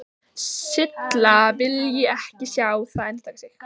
Silla vilji ekki sjá það endurtaka sig.